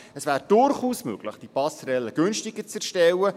Es wäre durchaus möglich, die Passerelle günstiger zu erstellen.